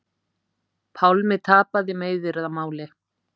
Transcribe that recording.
Pálmi tapaði meiðyrðamáli